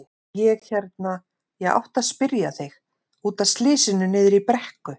Ég hérna. ég átti að spyrja þig. út af slysinu niðri í brekku.